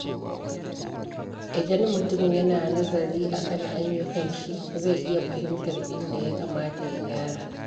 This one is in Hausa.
Idan mutum yana nazarin akan ayyukanshi, zai iya fahimtar inda ya kamata ya gyara.